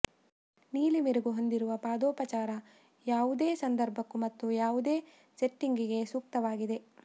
ನೀಲಿ ಮೆರುಗು ಹೊಂದಿರುವ ಪಾದೋಪಚಾರ ಯಾವುದೇ ಸಂದರ್ಭಕ್ಕೂ ಮತ್ತು ಯಾವುದೇ ಸೆಟ್ಟಿಂಗ್ಗೆ ಸೂಕ್ತವಾಗಿದೆ